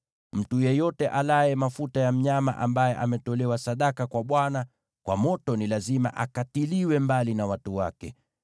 Mtu yeyote alaye mafuta ya mnyama ambaye ametolewa sadaka kwa Bwana kwa moto ni lazima akatiliwe mbali na watu wake.